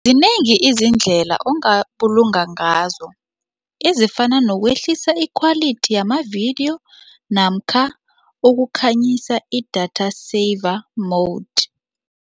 Zinengi izindlela ongabulunga ngazo, ezifana nokwehlisa ikhwalithi yamavidiyo namkha ukukhanyisa i-data saver mode.